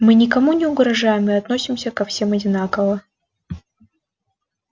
мы никому не угрожаем и относимся ко всем одинаково